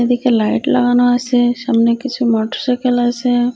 এদিকে লাইট লাগানো আসে সামনে কিছু মোটরসাইকেল আসে।